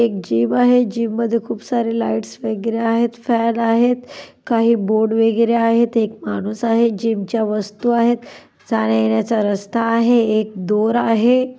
एक जीम आहे. जीम मध्ये खूप सारे लाईट्स वगैरे आहेत. फॅन आहेत. काही बोर्ड वगैरे आहेत. एक माणूस आहे. जीम च्या वस्तु आहेत. जाण्यायेण्याचा रस्ता आहे. एक दोर आहे.